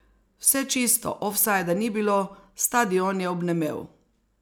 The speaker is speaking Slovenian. Vse čisto, ofsajda ni bilo, stadion je obnemel.